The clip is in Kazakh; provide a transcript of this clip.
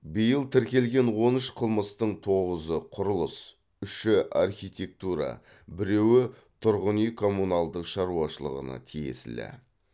биыл тіркелген он үш қылмыстың тоғызы құрылыс үші архитектура біреуі тұрғын үй коммуналдық шаруашылығына тиесілі